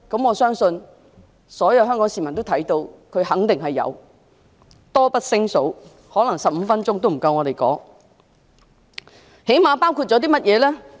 我相信全港市民都看到，她肯定有，例子多不勝數 ，15 分鐘可能也不夠我們一一數算。